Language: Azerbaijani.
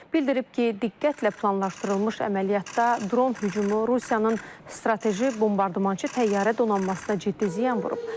Bildirib ki, diqqətlə planlaşdırılmış əməliyyatda dron hücumu Rusiyanın strateji bombardmançı təyyarə donanmasına ciddi ziyan vurub.